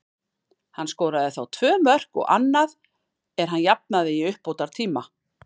Hann skoraði þá tvö mörk, og annað er hann jafnaði í uppbótartíma.